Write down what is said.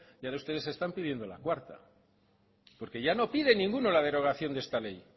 y ahora ustedes están pidiendo la cuarta porque ya no piden ninguno la derogación de esta ley